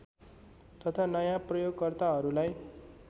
तथा नयाँ प्रयोगकर्ताहरूलाई